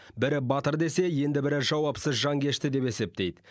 бірі батыр десе енді бірі жауапсыз жанкешті деп есептейді